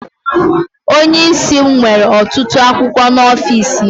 Onye isi m nwere ọtụtụ akwụkwọ n'ọfịs ya.